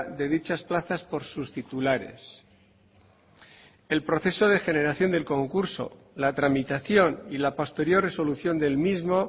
de dichas plazas por sus titulares el proceso de generación del concurso la tramitación y la posterior resolución del mismo